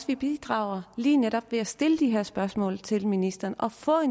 vi bidrager lige netop ved at stille de her spørgsmål til ministeren og få